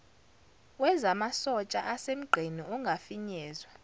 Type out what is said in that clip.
wezamasotsha asemgqeni angafinyezwa